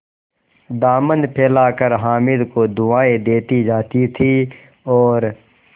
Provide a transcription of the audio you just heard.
दामन फैलाकर हामिद को दुआएँ देती जाती थी और